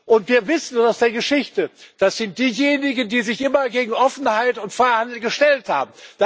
Und wir wissen aus der Geschichte Das sind diejenigen, die sich immer gegen Offenheit und Freihandel gestellt haben.